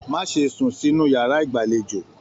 Má ṣe sún sínú yàrá ìgbàlèjo